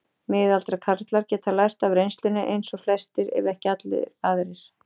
Miðaldra karlar geta lært af reynslunni eins og flestir ef ekki allir aðrir.